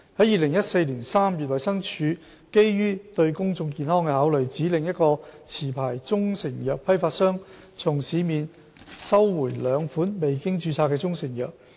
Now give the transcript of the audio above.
2014年3月，衞生署基於對公眾健康的考慮，指令一個持牌中成藥批發商從市面收回兩款未經註冊的中成藥。